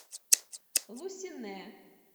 лусинэ